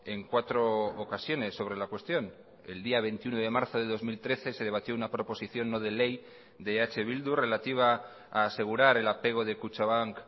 en cuatro ocasiones sobre la cuestión el día veintiuno de marzo de dos mil trece se debatió una proposición no de ley de eh bildu relativa a asegurar el apego de kutxabank